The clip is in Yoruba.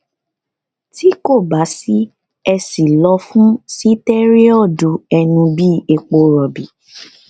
tí kò bá sí èsì lọ fún sitẹriọdu ẹnu bíi epo rọbì